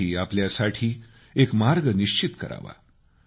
त्यांनीही आपल्यासाठी एक मार्ग निश्चित करावा